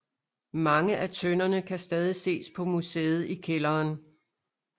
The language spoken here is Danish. Mange af tønderne kan stadig ses på museet i kælderen